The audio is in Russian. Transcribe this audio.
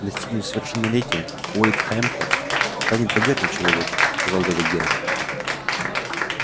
достигнув совершеннолетия уэйд хэмптон станет богатым человеком сказал дядя генри